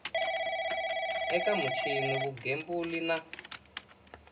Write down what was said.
eka michini ya vugembuli na